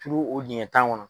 Turu o dingɛ tan kɔnɔ.